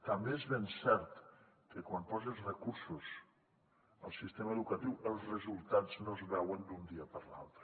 també és ben cert que quan poses recursos al sistema educatiu els resultats no es veuen d’un dia per a l’altre